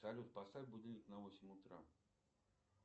салют поставь будильник на восемь утра